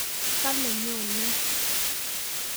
Kale nyonei